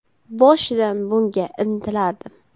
Boshidan bunga intilardim.